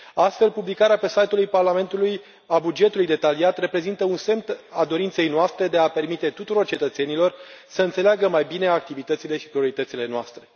Astfel, publicarea pe site ul Parlamentului a bugetului detaliat reprezintă un semn al dorinței noastre de a permite tuturor cetățenilor să înțeleagă mai bine activitățile și prioritățile noastre.